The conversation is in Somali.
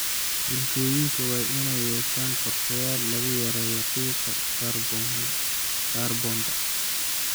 Bulshooyinka waa inay yeeshaan qorshayaal lagu yareeyo qiiqa kaarboon-da.